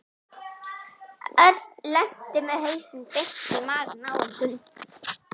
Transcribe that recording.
Örn lenti með hausinn beint í magann á einhverjum.